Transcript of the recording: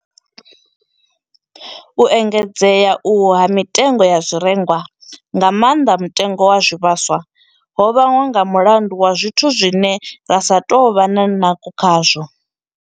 U engedzea uhu ha mitengo ya zwirengwa, nga maanḓa mutengo wa zwivhaswa, ho vhangwa nga mulandu wa zwithu zwine ra sa tou vha na ndango khazwo.